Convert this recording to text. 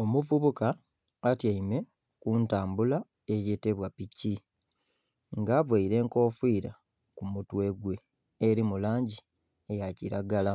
Omuvubuka atyaime kutambula eyetebwa piki nga avaire enkofira ku mutwe gwe eri mu langi eya kiragala